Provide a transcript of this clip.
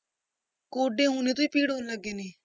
ਗੋਡੇ ਹੁਣੇ ਤੋਂ ਹੀ ਕਿਉਂ ਲੱਗ ਗਏ ਨੇ।